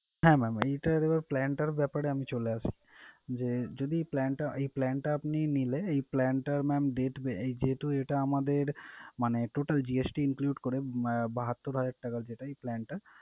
হ্যাঁ mam এইটার এবারে plan টার ব্যাপারে আমি চলে আসি যে যদি plan টা এই plan টা আপনি নিলে, এই plan টার mam debt way । যেহেতু এটা আমাদের মানে total GST include করে আহ বাহাত্তুর হাজার টাকা যেটা এই plan টা।